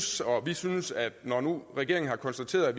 så vi synes at når nu regeringen har konstateret at